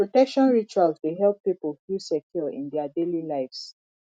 protection rituals dey help pipo feel secure in dia daily lives